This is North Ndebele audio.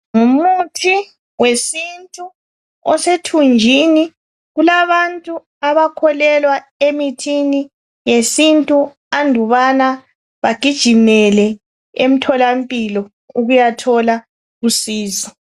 Ngumuthi wesintu osethunjini. Kulabantu abakholelwa emithini yesintu andubana bagijimela emtholampilo ukuyathola usizo.